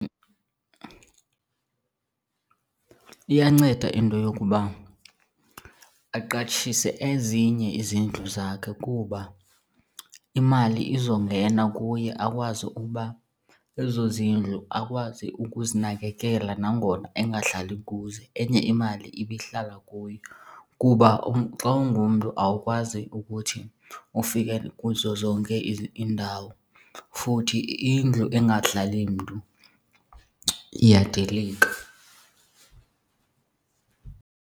Iyanceda into yokuba aqatshise ezinye izindlu zakhe kuba imali izongena kuye akwazi ukuba ezo zindlu akwazi ukuzinakekela nangona engahlali kuzo enye imali ibe ihlala kuye. Kuba xa ungumntu awukwazi ukuthi ufike kuzo zonke iindawo, futhi indlu engahlali mntu iyadilika.